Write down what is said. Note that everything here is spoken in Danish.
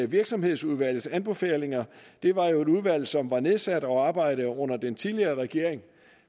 virksomhedsudvalgets anbefalinger det var jo et udvalg som var nedsat og arbejdede under den tidligere regering